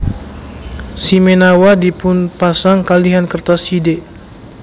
Shimenawa dipunpasang kalihan kertas shide